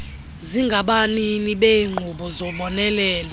zingabanini beenkqubo zobonelelo